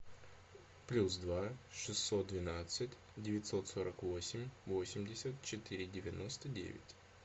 плюс два шестьсот двенадцать девятьсот сорок восемь восемьдесят четыре девяносто девять